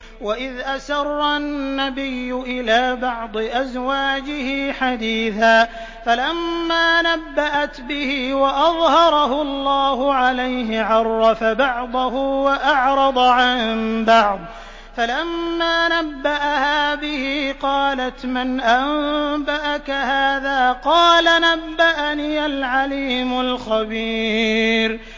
وَإِذْ أَسَرَّ النَّبِيُّ إِلَىٰ بَعْضِ أَزْوَاجِهِ حَدِيثًا فَلَمَّا نَبَّأَتْ بِهِ وَأَظْهَرَهُ اللَّهُ عَلَيْهِ عَرَّفَ بَعْضَهُ وَأَعْرَضَ عَن بَعْضٍ ۖ فَلَمَّا نَبَّأَهَا بِهِ قَالَتْ مَنْ أَنبَأَكَ هَٰذَا ۖ قَالَ نَبَّأَنِيَ الْعَلِيمُ الْخَبِيرُ